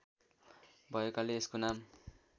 भएकाले यसको नाम